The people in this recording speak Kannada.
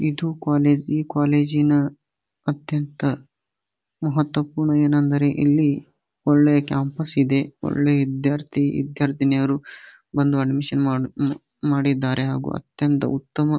ಇದು ಕಾಲೇಜು ಈ ಕಾಲೇಜು ನ ಅತ್ಯಂತ ಮಹತ್ವ ಪೂರ್ಣ ಏನಂದ್ರೆ ಇಲ್ಲಿ ಒಳ್ಳೆ ಕ್ಯಾಂಪಸ್ ಇದೆ ಒಳ್ಳೆಯ ವಿದ್ಯಾರ್ಥಿ ವಿದ್ಯಾರ್ಥಿನಿಯರು ಬಂದು ಅಡ್ಮಿಶನ್ ಮಾಡಿದ್ದಾರೆ ಹಾಗು ಅತ್ಯಂತ ಉತ್ತಮ--